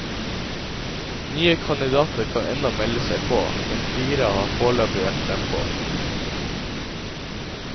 Nye kandidater kan ennå melde seg på, men fire har foreløpig vært frempå.